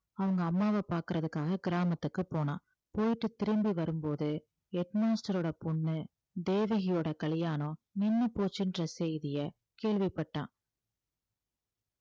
அவங்க அம்மாவ பாக்குறதுக்காக கிராமத்துக்கு போனான் போயிட்டு திரும்பி வரும்போது head master ஓட பொண்ணு தேவகியோட கல்யாணம் நின்னு போச்சுன்ற செய்தியை கேள்விப்பட்டான்.